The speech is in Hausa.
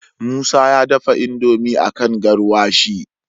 musa ya dafa indomie akan garwashi